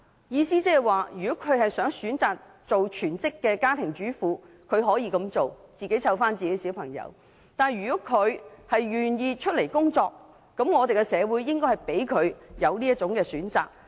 意思是如果她們選擇做全職家庭主婦，她們可以自己照顧子女；如果她們願意工作，那麼社會便應給她們這個選擇。